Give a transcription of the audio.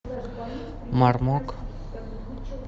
мармок